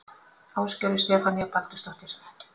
Ásgerður Stefanía Baldursdóttir